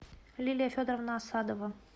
лилия федоровна асадова